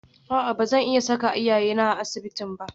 A'a ba zan iya saka iyayena a asibitin ba